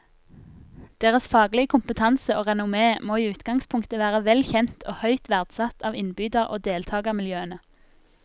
Deres faglige kompetanse og renommé må i utgangspunktet være vel kjent og høyt verdsatt av innbyder og deltagermiljøene.